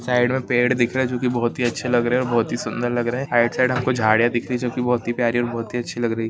Side मे पेड़ दिख रहे जो की बहुत ही अच्छी लग रहे और बहुत ही सुंदर लग रहे हाइट साइड आपको झाड़ीया दिख रही जो की बहुत ही प्यारी और बहुत ही अच्छी लग रही।